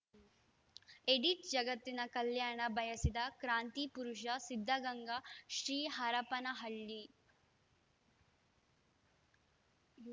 edit ಜಗತ್ತಿನ ಕಲ್ಯಾಣ ಬಯಸಿದ ಕ್ರಾಂತಿ ಪುರುಷ ಸಿದ್ದಗಂಗಾ ಶ್ರೀ ಹರಪನಹಳ್ಳಿ